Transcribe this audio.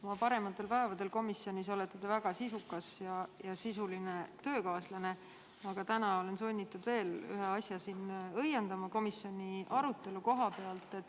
Oma parematel päevadel komisjonis olete te väga sisukas ja sisuline töökaaslane, aga täna olen sunnitud ära õiendama veel ühe asja, mis puudutab komisjoni arutelu.